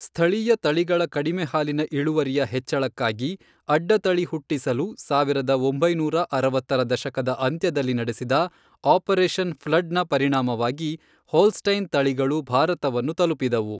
ಸ್ಥಳೀಯ ತಳಿಗಳ ಕಡಿಮೆ ಹಾಲಿನ ಇಳುವರಿಯ ಹೆಚ್ಚಳಕ್ಕಾಗಿ, ಅಡ್ಡತಳಿ ಹುಟ್ಟಿಸಲು, ಸಾವಿರದ ಒಂಬೈನೂರ ಅರವತ್ತರ ದಶಕದ ಅಂತ್ಯದಲ್ಲಿ ನಡೆಸಿದ ಆಪರೇಷನ್ ಫ್ಲಡ್ನ ಪರಿಣಾಮವಾಗಿ ಹೋಲ್ಸ್ಟೈನ್ ತಳಿಗಳು ಭಾರತವನ್ನು ತಲುಪಿದವು.